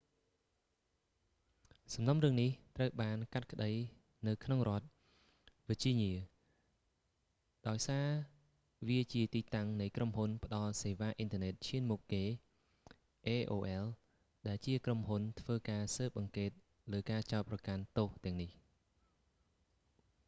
សំណុំរឿងនេះ ត្រូវបានកាត់ក្ដីនៅក្នុងរដ្ឋ វើជីញៀ virginia ដោយសារវាជាទីតាំងនៃក្រុមហ៊ុនផ្ដល់សេវាអ៊ីនធឺណិតឈានមុខគេ aol ដែលជាក្រុមហ៊ុនធ្វើការស៊ើបអង្កេតលើការចោទប្រកាន់ទោសទាំងនេះ